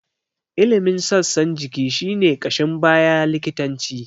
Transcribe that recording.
Ilimin sassan jiki shi ne ƙashin baya likitanci.